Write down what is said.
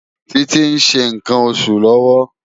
Titi n ṣé nkán óṣú lòwò